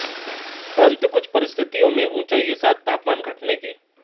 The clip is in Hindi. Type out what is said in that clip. परन्तु कुछ परिस्थितियों में ऊँचाई के साथ तापमान घटने के